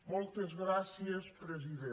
moltes gràcies presidenta